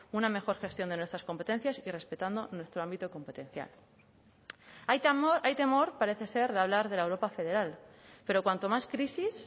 una mejor gestión de nuestras competencias y respetando nuestro ámbito competencial hay temor parece ser de hablar de la europa federal pero cuanto más crisis